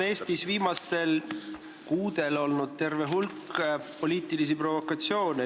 Eestis on viimastel kuudel olnud terve hulk poliitilisi provokatsioone.